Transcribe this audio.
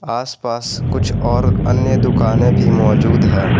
आस पास कुछ और अन्य दुकानें भी मौजूद है।